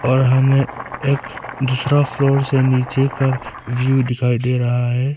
और हमें एक दूसरा फ्लोर से नीचे का व्यू दिखाई दे रहा है।